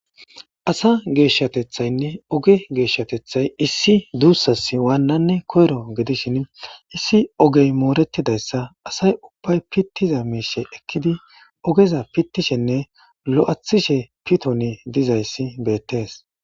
asa geeshshatethaynne oge geeshshatethay issi duussas waannanne koyro gedishin issi ogey mooretidayssa asay ubbay pittiza miishe ekkidi ogeza pittishenne lo7athishe pitoni dizayssi beettees.